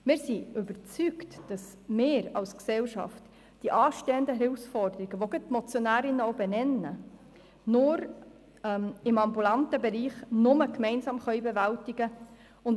Wir sind davon überzeugt, dass wir als Gesellschaft die anstehenden Herausforderungen im ambulanten Bereich, die die Motionärinnen auch benennen, nur gemeinsam bewältigen können.